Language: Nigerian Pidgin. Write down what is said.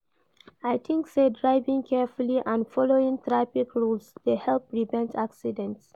I think say driving carefully and following traffic rules dey help prevent accidents.